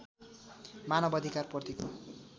मानव अधिकारप्रतिको